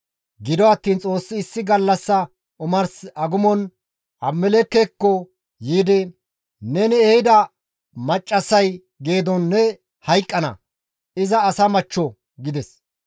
Gido attiin Xoossi issi gallassa omars agumon Abimelekkeko yiidi, «Neni ehida maccassay geedon ne hayqqana; iza asa machcho» gides.